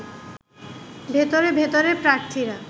ভেতরে ভেতরে প্রার্থীরা